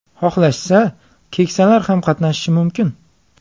Xohlashsa, keksalar ham qatnashishi mumkin.